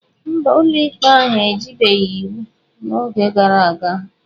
Mba, ụlọikpe ahụ ejibeghị iwu n'oge gara aga.